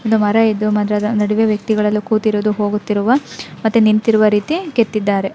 ಒಂದು ಮರ ಇದ್ದು ಮರದ ನಡುವೆ ವ್ಯಕ್ತಿಗಳೆಲ್ಲ ಕೂತಿರುವ ಹೊಗುತ್ತಿರುವ ಮತ್ತೆ ನಿಂತಿರುವ ರಿತಿ ಕೆತ್ತಿದ್ದಾರೆ .